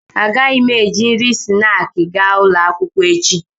Agaghị m eji nri snaakị gaa ụlọ akwụkwọ echi